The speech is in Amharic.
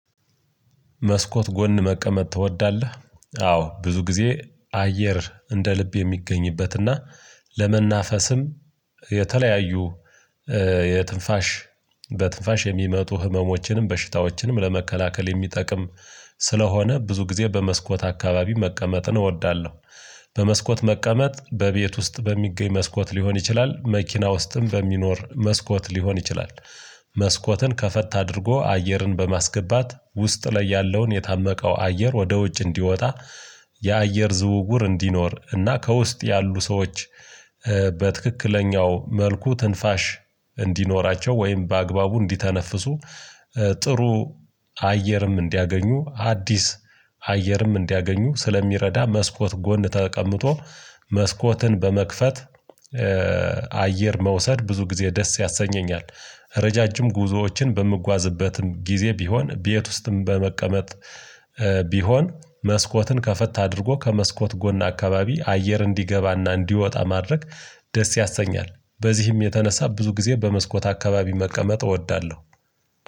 መስኮት ጎን መቀመጥ ትወዳለህ አዎ ብዙ ጊዜ አየር እንደ ልብ የሚገኝበትና እና ለመናፈስም የተለያዩ የትንፋሽ በትንፋሽ የሚመጡ ህመሞችንም በሽታዎችንም ለመከላከል የሚጠቅም ስለሆነ ብዙ ጊዜ በመስኮት አካባቢ መቀመጥን እወዳለሁ፤ በመስኮት መቀመጥ በቤት ውስጥ በሚገኝ መስኮት ሊሆን ይችላል መኪና ውስጥም በሚኖር መስኮት ሊሆን ይችላል፤ መስኮትን ከፈት አድርጎ አየርን በማስገባት ውስጥ ላይ ያለውን የታመቀው አየር ወደ ውጭ እንዲወጣ የአየር ዝውውር እንዲኖር እና ከውስጥ ያሉ ሰዎች በትክክለኛው መልኩ ትንፋሽ እንዲኖራቸው ወይም በአግባቡ እንዲተነፍሱ ጥሩ አየርም እንዲያገኙ አዲስ አየርም እንዲያገኙ ስለሚረዳ መስኮት ጎን ተቀምጦ መስኮትን በመክፈት አየር መውሰድ ብዙ ጊዜ ደስ ያሰኘኛል፤ ረጃጅም ጉዞዎችን በምጓዝበትም ጊዜ ቢሆን ቤት ውስጥም በመቀመጥ ቢሆን መስኮትን ከፈት አድርጎ ከመስኮት ጎን አካባቢ አየር እንዲገባና እንዲወጣ ማድረግ ደስ ያሰኛል በዚህም የተነሳ ብዙ ጊዜ በመስኮት አካባቢ መቀመጥ እወዳለሁ።